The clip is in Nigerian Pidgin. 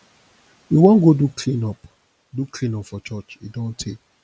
we wan go do clean up do clean up for church e don tey